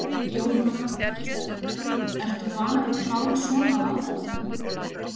Jóhanna Margrét Gísladóttir: Ertu vanur að klára svona á aðfangadag?